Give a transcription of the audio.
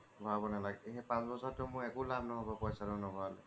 ভৰাব নালাগে এই পাঁচ বছৰ টো মোৰ একো লাভ নহব পইছা টো নোহোৱা লৈকে